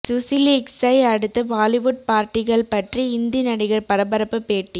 சுசிலீக்ஸை அடுத்து பாலிவுட் பார்ட்டிகள் பற்றி இந்தி நடிகர் பரபரப்பு பேட்டி